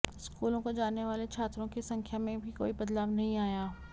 स्कूलों को जाने वाले छात्रों की संख्या में भी कोई बदलाव नहीं आया